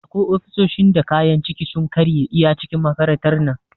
Akwai ofisoshin da kayan ciki sun karye iya cikin makarantar nan